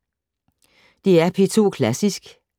DR P2 Klassisk